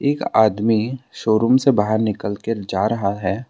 एक आदमी शोरूम से बाहर निकल कर जा रहा है।